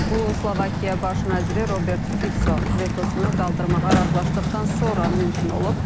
Bu Slovakiya baş naziri Robert Fitsonun vetosunu qaldırmağa razılaşdıqdan sonra mümkün olub.